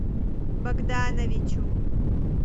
богдановичу